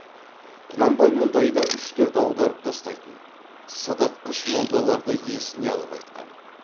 құнанбай мұндайда үш төрт аударып тастайтын сыдыртқыш молдаларды есіне алып айтқан